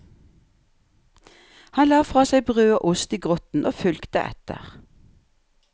Han la fra seg brød og ost i grotten og fulgte etter.